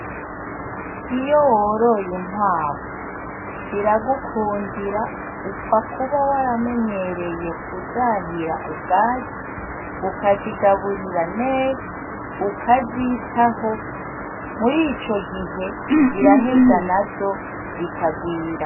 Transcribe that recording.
Iyo woroye inkwavu, ziragukundira upfa kuba waramenyereye kuzahira ubwatsi ukazigaburira neza, ukazitaho, murico gihe ziraheza nazo zikagwira.